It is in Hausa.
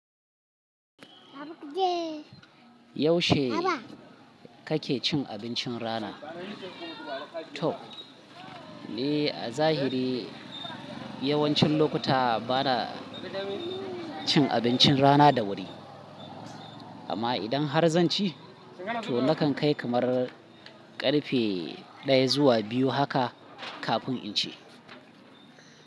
Yaushe kake cin abincin rana? To, ni a zahiri yawancin lokuta bana cin abincin rana da wuri, amma idan har zan ci, to nakan kai kamar ƙarfe 1 zuwa 2 haka kafin in ci.